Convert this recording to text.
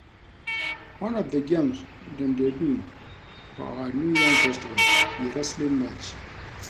One of the games dem dey do for our new yam festival be wrestling match